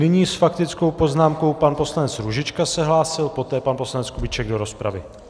Nyní s faktickou poznámkou pan poslanec Růžička se hlásil, poté pan poslanec Kubíček do rozpravy.